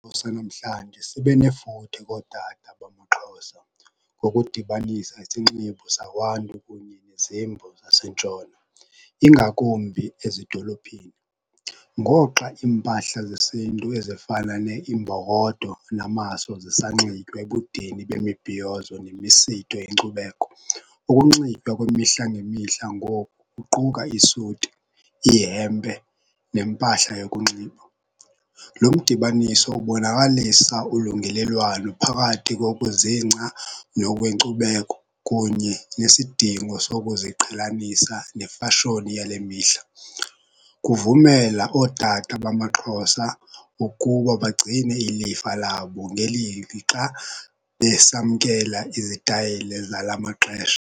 Esanamhlanje sibe nefuthe kootata bamaXhosa, ngokudibanisa isinxibo sakwantu kunye nezimvo zaseNtshona ingakumbi ezidolophini. Ngoxa iimpahla zesintu ezifana neeimbokodo, namaso zisanxitywa ebudeni bemibhiyozo nemisitho enkcubeko, ukunxitywa kwemihla ngemihla ngoku kuquka isuti, ihempe, nempahla yokunxiba. Lo mdibaniso ubonakalisa ulungelelwano phakathi kokuzingca nokwenkcubeko kunye nesidingo sokuziqhelanisa nefashoni yale mihla. Kuvumela ootata bamaXhosa ukuba bagcine ilifa labo ngeli lixa besamkela izitayile zala maxesha.